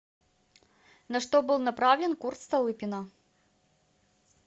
на что был направлен курс столыпина